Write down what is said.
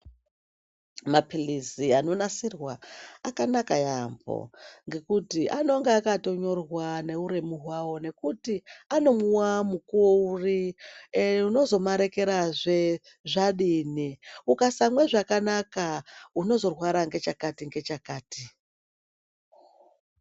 Maphilizi anonasirwa akanaka yaampho, ngekuti anonga akatonyorwa neuremu hwavo, nekuti anomwiwa mukuwo uri, ee unozomarekerazve zvadini. Ukasamwe zvakanaka, unozorwara ngechakati, ngechakati.